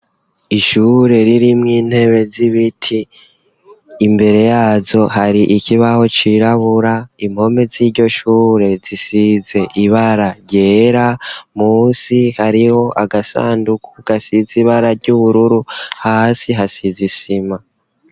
Ishure ririmw intebe z'ibiti imbere yazo hari ikibaho cirabura impome z'iryo shure zisize ibara ryera musi hariho agasanduku gasize ibara ry'ubururu ,hasi hasizisima.